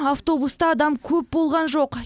автобуста адам көп болған жоқ